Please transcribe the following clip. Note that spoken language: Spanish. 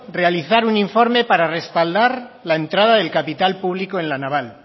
realizar un informe para respaldar la entrada del capital público en la naval